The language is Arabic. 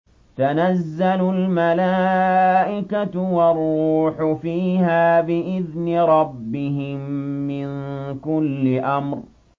تَنَزَّلُ الْمَلَائِكَةُ وَالرُّوحُ فِيهَا بِإِذْنِ رَبِّهِم مِّن كُلِّ أَمْرٍ